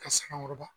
Ka saŋayɔrɔba